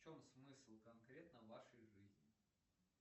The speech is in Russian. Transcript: в чем смысл конкретно вашей жизни